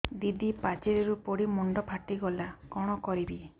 ଦିଦି ପାଚେରୀରୁ ପଡି ମୁଣ୍ଡ ଫାଟିଗଲା କଣ କରିବି